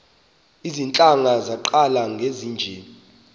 iintlanga zaqala ngezinje